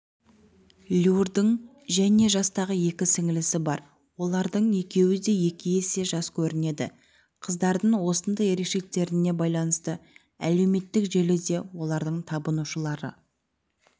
люрдің және жастағы екі сіңлісі бар олардың екеуі де екі есе жас көрінеді қыздардың осындай ерекшеліктеріне байланысты әлеуметтік желіде олардың табынушылары